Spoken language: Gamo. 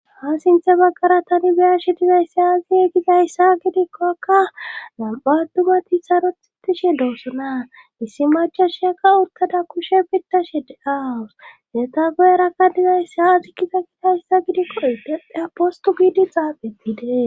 ha sinthe baggara tani beyashe dizaysiaasi egizayssa gidikkokka nam7a attumati sarothitishe doossona issi macashiyakka urkada kushe bittashe de7aawus heta goyerakka dizaysi aazi kiza kitayssa gidikko idepea postu giidi xaafettide